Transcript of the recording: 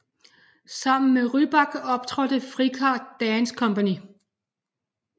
Sammen med Rybak optrådte Frikar Dance Company